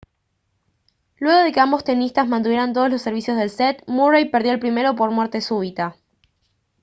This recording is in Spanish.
luego de que ambos tenistas mantuvieran todos los servicios del set murray perdió el primero por muerte súbita